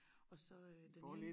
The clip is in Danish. Og så øh den ene